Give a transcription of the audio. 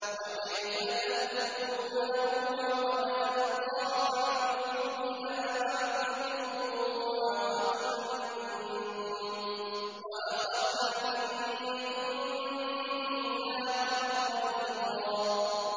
وَكَيْفَ تَأْخُذُونَهُ وَقَدْ أَفْضَىٰ بَعْضُكُمْ إِلَىٰ بَعْضٍ وَأَخَذْنَ مِنكُم مِّيثَاقًا غَلِيظًا